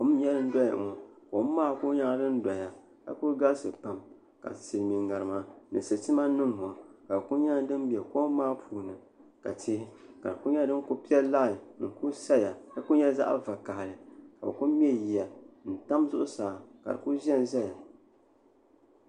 Kom n doya ŋɔ ka kuli galisi Pam ka siliinmiin ŋarima ni sitiima nima ka di kuli nyɛla din bɛ kom maa puuni ka tihi ka di Kuli nyɛla din kuli pɛ lanyi n ku saya ka kuli nyɛ zaɣ' vakahili ka bɛ kuli mɛ yiya n tam zuɣusaa ka di Kuli zanʒɛya